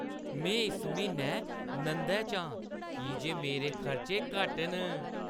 में इस म्हीनै नंदै च आं की जे मेरे खर्चे घट्ट न।